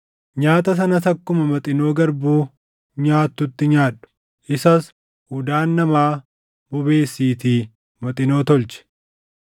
Nyaata sanas akkuma Maxinoo garbuu nyaattutti nyaadhu; isas udaan namaa bobeesiitii Maxinoo tolchi.”